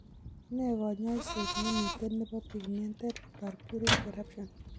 Nee kanyoiseet nemiten nebo pigmented purpuric eruption